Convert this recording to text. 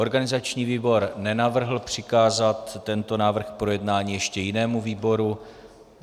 Organizační výbor nenavrhl přikázat tento návrh k projednání ještě jinému výboru.